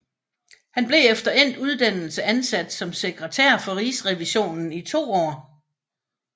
Han blev efter endt uddannelse ansat som sekretær for Rigsrevisionen i to år